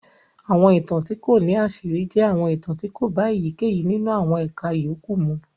Àwọn ìtàn tí kò ní àṣírí jẹ́ àwọn ìtàn tí kò bá èyíkéyìí nínú àwọn ẹ̀ka yòókù mu.